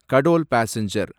Katol passenger